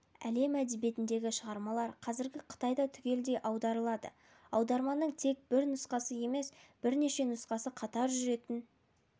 әлем әдебиетіндегі шығармалар қазір қытайда түгелдей аударылады аударманың тек бір нұсқасы емес бірнеше нұсқасы қатар жүретін